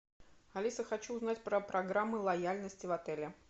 алиса хочу узнать про программы лояльности в отеле